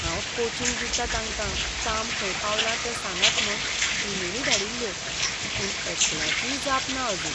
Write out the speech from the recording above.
हांव कोचिंग दिता तांकां काम खंय पावलां तें सांगात म्हूण इमेली धाडिल्ल्यो, पूण एकल्याचीय जाप ना आजून.